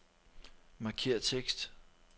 Markér tekst.